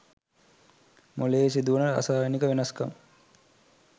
මොලයේ සිදුවන රසායනීක වෙනස් කම්